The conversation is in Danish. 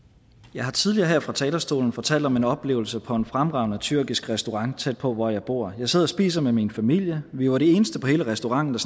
jeg har tidligere her fra talerstolen fortalt om en oplevelse på en fremragende tyrkisk restaurant tæt på hvor jeg bor jeg sidder og spiser med min familie vi var de eneste i hele restauranten